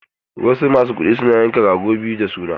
Wasu masu kuɗi suna yanka rago biyu na suna.